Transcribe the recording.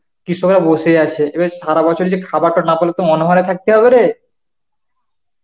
কৃষকও বসে আছে এবার সারা বছর যে খাবারটা না পেলে তো অনহরে থাকতে হবে রে.